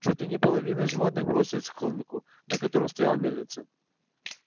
чуть ли не половина животных бросилась к холмику на котором стояла мельница